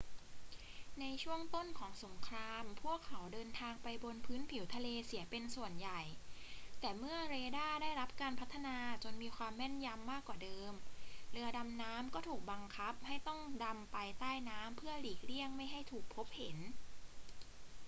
ในช่วงต้นของสงคราม พวกเขาเดินทางไปบนพื้นผิวทะเลเสียเป็นส่วนใหญ่ แต่เมื่อเรดาร์ได้รับการพัฒนาจนมีความแม่นยำกว่าเดิม เรือดำน้ำก็ถูกบังคับให้ต้องดำไปใต้น้ำเพื่อหลีกเลี่ยงไม่ให้ถูกพบเห็น